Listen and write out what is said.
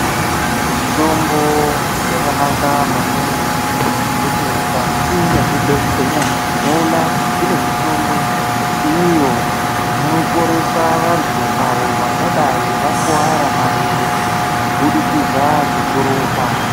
Mitombo yakanaka maningi ngekuti mukati mezvibhedhlera tinoona kuti kune mitombo iyo inoporesa vantu avo vangadai vakuvara marenje kubudikidza ngekurumba .